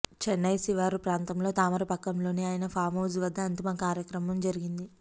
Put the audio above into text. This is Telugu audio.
చెన్నై శివారు ప్రాంతం తామరపక్కంలోని ఆయన ఫామ్హౌస్ వద్ద అంతిమ కార్యక్రమం జరిగింది